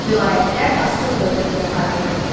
Bu vilayətlər Asur dövlətinə tabe idi.